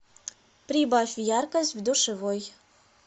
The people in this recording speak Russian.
прибавь яркость в душевой